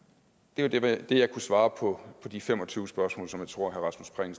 det var det det jeg kunne svare på de fem og tyve spørgsmål som jeg tror herre rasmus prehn